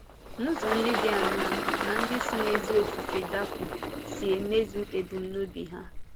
Ụzọ ndị dị áńàá ka ndị si n’ézí ofufe dápụ si emezu ebumnobi ha?